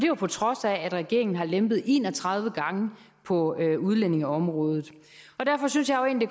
jo på trods af at regeringen har lempet en og tredive gange på udlændingeområdet og derfor synes jeg egentlig